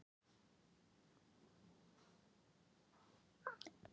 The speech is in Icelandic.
Hann er aðeins til í minningunni.